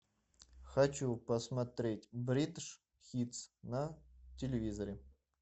хочу посмотреть бридж хитс на телевизоре